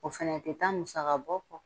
O fɛnɛ tɛ taa musaka bɔ kɔ